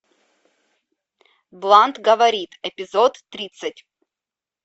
блант говорит эпизод тридцать